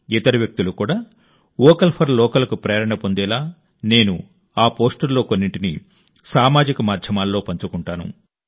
ఇతర వ్యక్తులు కూడా వోకల్ ఫర్ లోకల్కు ప్రేరణ పొందేలా నేను ఆ పోస్టుల్లో కొన్నింటిని సామాజిక మాధ్యమాల్లో పంచుకుంటాను